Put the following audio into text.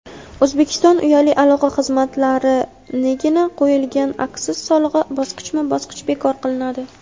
O‘zbekiston uyali aloqa xizmatlariniga qo‘yilgan aksiz solig‘i bosqichma-bosqich bekor qilinadi.